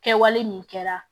Kɛwale min kɛra